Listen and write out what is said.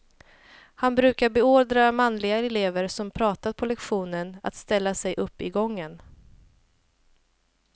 Han brukade beordra manliga elever som pratat på lektion att ställa sig upp i gången.